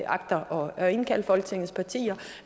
agter at indkalde folketingets partier